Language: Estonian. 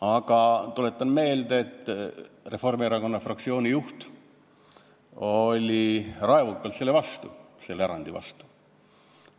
Aga tuletan meelde, et Reformierakonna fraktsiooni juht oli raevukalt selle erandi vastu.